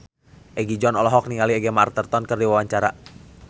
Egi John olohok ningali Gemma Arterton keur diwawancara